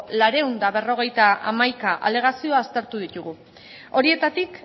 laurehun eta berrogeita hamaika alegazio aztertu ditugu horietatik